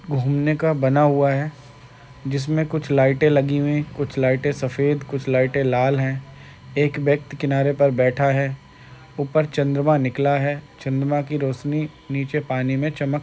घूमने का बना हुआ है जिसमें कुछ लाइटे लगी हुए हैं। कुछ लाइटे सफ़ेद कुछ लाल हैं। एक व्यक्ति किनारे पर बैठा है। उपर चन्द्रमा निकला है। चन्द्रमा की रोशनी नीचे पानी में चमक --